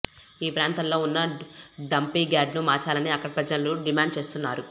ఈ ప్రాంతంలో ఉన్న డంపింగ్యార్డును మార్చాలని అక్కడి ప్రజలు డిమాండ్ చేస్తున్నారు